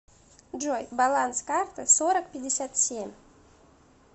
джой баланс карты сорок пятьдесят семь